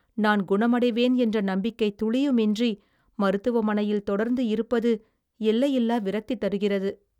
நான் குணமடைவேன் என்ற நம்பிக்கை துளியுமின்றி மருத்துவமனையில் தொடர்ந்து இருப்பது எல்லையில்லா விரக்தி தருகிறது.